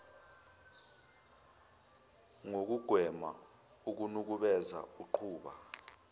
ngokugwema ukunukubeza uqhuba